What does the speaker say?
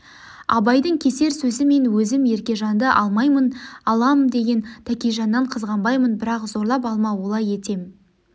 абайдың кесер сөзі мен өзім еркежанды алмаймын алам деген тәкежаннан қызғанбаймын бірақ зорлап алма олай етем